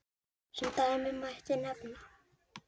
Sem dæmi mætti nefna